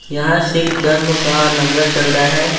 यहां सिख धर्म का लंगर चल रहा है।